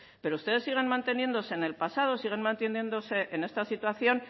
pero ustedes siguen manteniéndose en el pasado siguen manteniéndose en esta situación